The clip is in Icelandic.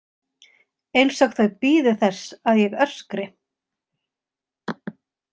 Eins og þau bíði þess að ég öskri.